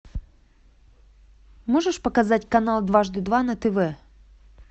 можешь показать канал дважды два на тв